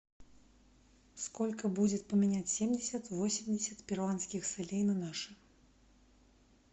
сколько будет поменять семьдесят восемьдесят перуанских солей на наши